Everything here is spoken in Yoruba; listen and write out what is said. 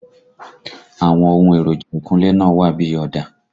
Àwọn ohun èròjà ìkunlé náà wà bí ọ̀dà